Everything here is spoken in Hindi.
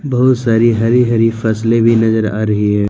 बहुत सारी हरि हरि फसलें भी नजर आ रही है।